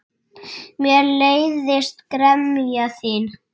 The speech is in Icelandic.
Mér leiðist gremja þín.